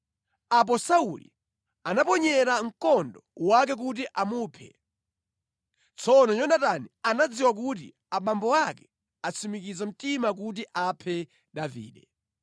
Apo Sauli anamuponyera mkondo wake kuti amuphe. Tsono Yonatani anadziwa kuti abambo ake atsimikiza mtima kuti aphe Davide.